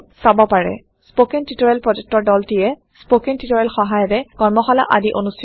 spoken tutorial প্ৰকল্পৰ দলটিয়ে160 spoken টিওটৰিয়েলৰ সহায়েৰে কৰ্মশালা আদি অনুষ্ঠিত কৰে